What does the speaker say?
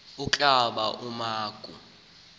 kombla wama ku